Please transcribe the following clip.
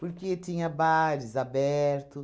Porque tinha bares aberto,